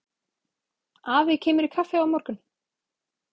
Afi kemur í kaffi á morgun.